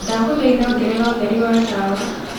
ndagũthaĩtha ongerera ũtherĩ wa tawa